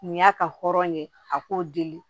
Nin y'a ka hɔrɔn ye a k'o deli